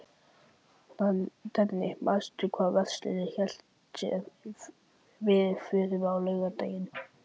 Denni, manstu hvað verslunin hét sem við fórum í á laugardaginn?